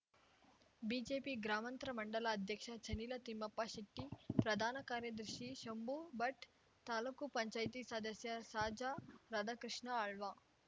BJP ಗ್ರಾಮಾಂತರ ಮಂಡಲ ಅಧ್ಯಕ್ಷ ಚನಿಲ ತಿಮ್ಮಪ್ಪ ಶೆಟ್ಟಿ ಪ್ರಧಾನ ಕಾರ್ಯದರ್ಶಿ ಶಂಭು ಭಟ್ ತಾಲೂಕು ಪಂಚಾಯ್ತಿ ಸದಸ್ಯ ಸಾಜ ರಾಧಾಕೃಷ್ಣ ಆಳ್ವ